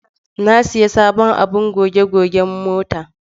Na sayi sabon abin goge goge mota.